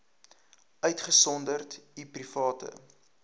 uitgesonderd u private